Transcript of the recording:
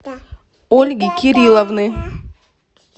ольги кирилловны